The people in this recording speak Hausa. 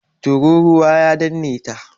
Turūruwa ya danne ta.